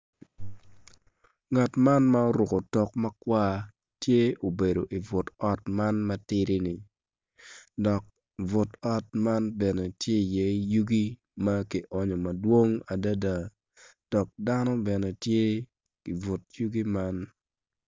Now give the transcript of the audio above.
Ngat man ma oruku otok ma kwar-ni tye obedo i but ot matidi-ni dok but ot man bene tye iye yugi ma ki oonyo madwong adida dok dano bene tye i but yugi man